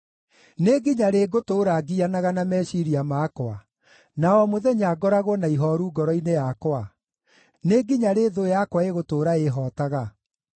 Nĩ nginya rĩ ngũtũũra ngianaga na meciiria makwa, na o mũthenya ngoragwo na ihooru ngoro-inĩ yakwa? Nĩ nginya rĩ thũ yakwa ĩgũtũũra ĩĩhootaga?